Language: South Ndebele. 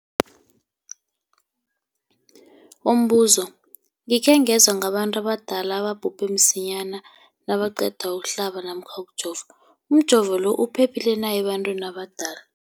Umbuzo, gikhe ngezwa ngabantu abadala ababhubhe msinyana nabaqeda ukuhlaba namkha ukujova. Umjovo lo uphephile na ebantwini abadala?